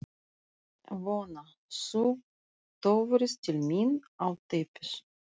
Vona: Þú töfrist til mín á teppið.